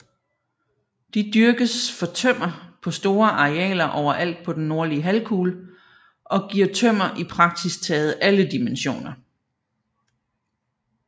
De dyrkes for tømmer på store arealer overalt på den nordlige halvkugle og giver tømmer i praktisk taget alle dimensioner